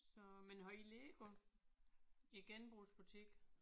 Så men har I Lego? I genbrugsbutikken?